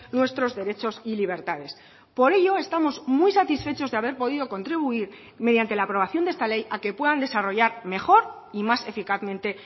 nuestros derechos y libertades por ello estamos muy satisfechos de haber podido contribuir mediante la aprobación de esta ley a que puedan desarrollar mejor y más eficazmente